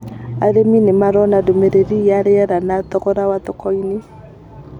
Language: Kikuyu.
Arīmi nĩ marona ndũmĩrĩri ya rĩera na thogora thoko-inĩ